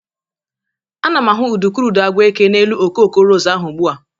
Ana m ahụ udukurudu agwa eke n'elu okoko ros ahụ ugbụ a.